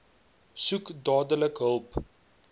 soek dadelik hulp